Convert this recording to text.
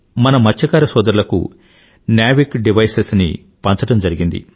మన మత్స్యకార సోదరులకు నావిక్డెవిసెస్ పంచడం జరిగింది